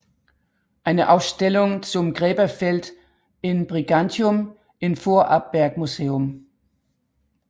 Eine Ausstellung zum Gräberfeld in Brigantium im vorarlberg museum